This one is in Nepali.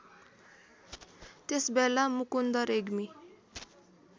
त्यसबेला मुकुन्द रेग्मी